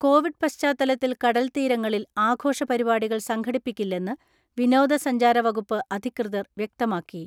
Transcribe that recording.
Covid പശ്ചാത്തലത്തിൽ കടൽത്തീരങ്ങളിൽ ആഘോഷ പരിപാടികൾ സംഘടിപ്പിക്കില്ലെന്ന് വിനോദ സഞ്ചാര വകുപ്പ് അധികൃതർ വ്യക്തമാക്കി.